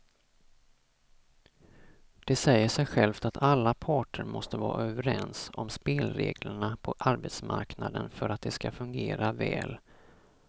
Det säger sig självt att alla parter måste vara överens om spelreglerna på arbetsmarknaden för att de ska fungera väl.